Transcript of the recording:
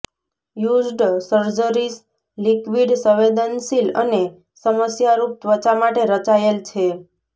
used surgeries liquid સંવેદનશીલ અને સમસ્યારૂપ ત્વચા માટે રચાયેલ છે